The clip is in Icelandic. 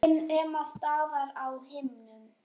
Skýin ema staðar á himnum.